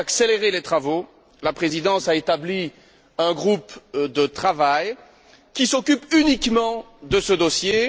Et pour accélérer les travaux, la Présidence a établi un groupe de travail qui s'occupe uniquement de ce dossier.